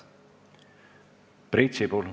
Priit Sibul.